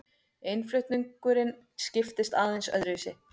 Innflutningurinn skiptist aðeins öðruvísi.